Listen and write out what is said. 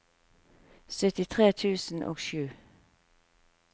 syttitre tusen og sju